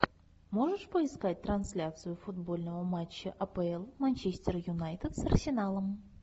можешь поискать трансляцию футбольного матча апл манчестер юнайтед с арсеналом